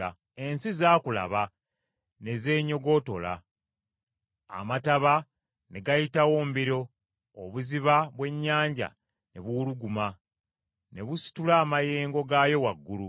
Ensozi zaakulaba, ne zeenyogootola; Amataba ne gayitawo mbiro, obuziba bw’ennyanja ne buwuluguma, ne busitula amayengo gaayo waggulu.